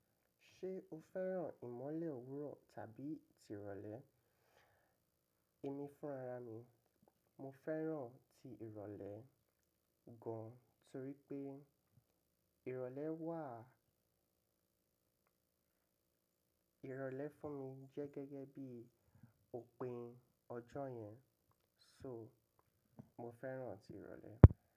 Ṣé o fẹ́ràn ìmọ́lẹ̀ òwúrọ̀ tàbí tirọ̀lẹ́? Èmi fúnra mi, mo fẹ́ràn ti ìrọ̀lẹ́ gan torí pé ìrọ̀lẹ́ wà-- ìrọ̀lẹ́ fún mi jẹ́ gẹ́gẹ́ bí òpin ọjọ́ yẹn, so mo fẹ́ràn ti ìrọ̀lẹ́.